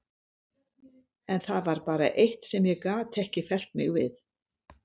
En það var bara eitt sem ég gat ekki fellt mig við.